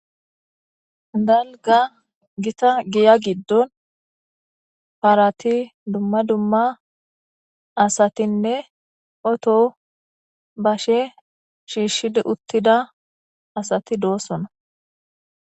Dalga gita giya giddon paarati dumma dumma asatinne oto bashe shiishshid uttida asati doossona.